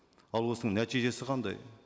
ал осының нәтижесі қандай